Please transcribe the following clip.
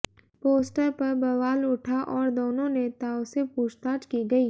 poster पर बवाल उठा और दोनों नेताओं से पूछताछ की गई